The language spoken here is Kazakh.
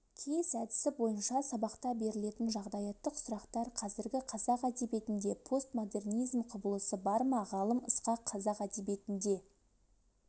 кейс әдісі бойынша сабақта берілетін жағдаяттық сұрақтар қазіргі қазақ әдебиетінде постмодернизм құбылысы бар ма ғалым ысқақ қазақ әдебиетінде